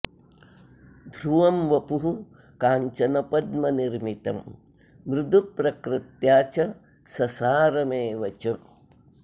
ध्रुवं वपुः काञ्चनपद्मनिर्मितं मृदु प्रकृत्या च ससारमेव च